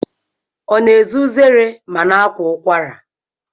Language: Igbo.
Ọ na-eze uzere ma na-akwa ụkwara?